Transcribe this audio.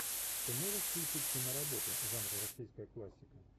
ты можешь включить киноработу жанра российская классика